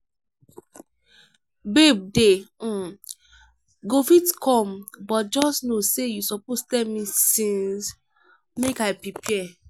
babe dey um go fit come but just no say you suppose tell me since make i prepare.